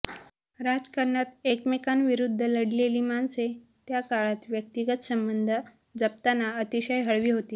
राजकारणात एकमेकांविरुद्ध लढलेली माणसे त्याकाळात व्यक्तिगत संबंध जपताना अतिशय हळवी होती